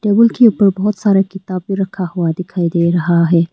के ऊपर बहुत सारा किताब भी रखा हुआ दिखाई दे रहा है।